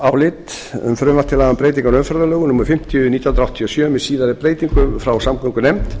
laga um breytingu á umferðarlögum númer fimmtíu nítján hundruð áttatíu og sjö með síðari breytingum frá samgöngunefnd